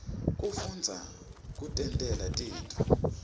kufundza kutentela tintfo